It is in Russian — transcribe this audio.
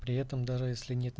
при этом даже если нет